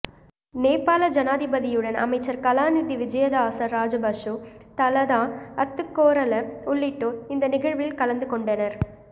நேபாள ஜனாதிபதியுடன் அமைச்சர் கலாநிதி விஜயதாச ராஜபக்ஷ தலதா அத்துக்கோரள உள்ளிட்டோர் இந்த நிகழ்வில் கலந்துகொண்டனர்